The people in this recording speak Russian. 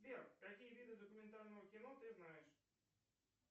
сбер какие виды документального кино ты знаешь